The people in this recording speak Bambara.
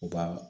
U ka